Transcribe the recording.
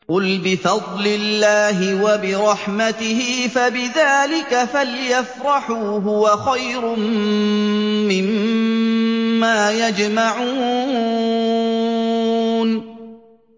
قُلْ بِفَضْلِ اللَّهِ وَبِرَحْمَتِهِ فَبِذَٰلِكَ فَلْيَفْرَحُوا هُوَ خَيْرٌ مِّمَّا يَجْمَعُونَ